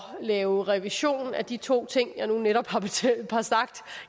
lave revision af de to ting jeg netop